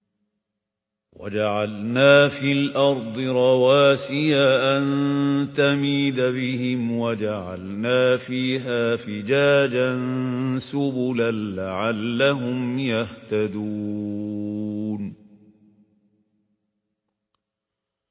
وَجَعَلْنَا فِي الْأَرْضِ رَوَاسِيَ أَن تَمِيدَ بِهِمْ وَجَعَلْنَا فِيهَا فِجَاجًا سُبُلًا لَّعَلَّهُمْ يَهْتَدُونَ